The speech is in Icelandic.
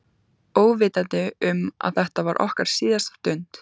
Óvitandi um að þetta var okkar síðasta stund.